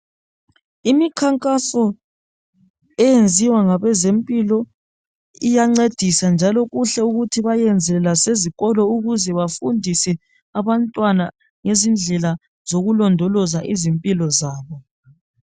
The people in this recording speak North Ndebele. Imkhankaso eyenziwa ngabezempilo iyancedisa njalo kuhle ukuthi bayiyenzele lasezikolo ukuze bafundise abantwana ngezindlela zokulondoloza izimpilo zabo.